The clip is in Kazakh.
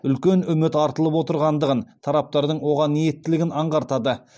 үлкен үміт артылып отырғандығын тараптардың оған ниеттілігін аңғартады